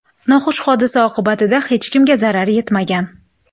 Noxush hodisa oqibatida hech kimga zarar yetmagan.